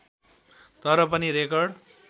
तर पनि रेकर्ड